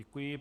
Děkuji.